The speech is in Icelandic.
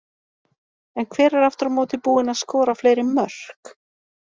En hver er aftur á móti búinn að skora fleiri mörk?